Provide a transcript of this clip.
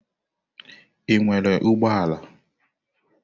Ị nwere ụgbọ ala?